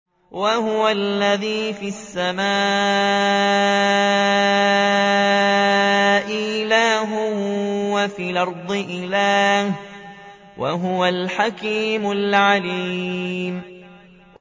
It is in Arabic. وَهُوَ الَّذِي فِي السَّمَاءِ إِلَٰهٌ وَفِي الْأَرْضِ إِلَٰهٌ ۚ وَهُوَ الْحَكِيمُ الْعَلِيمُ